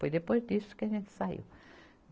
Foi depois disso que a gente saiu.